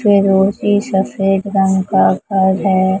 फिरोजी सफेद रंग का घर है।